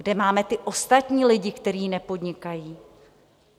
Kde máme ty ostatní lidi, kteří nepodnikají?